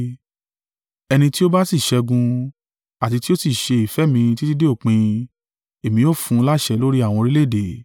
Ẹni tí ó bá sì ṣẹ́gun, àti tí ó sì ṣe ìfẹ́ mi títí dé òpin, èmi ó fún un láṣẹ lórí àwọn orílẹ̀-èdè: